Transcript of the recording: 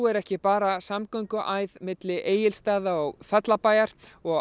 er ekki bara samgönguæð milli Egilsstaða og Fellabæjar og